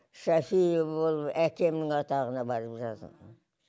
шафиева болып әкемнің атағына барып жазылдым